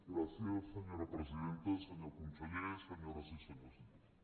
gràcies senyora presidenta senyor conseller senyores i senyors diputats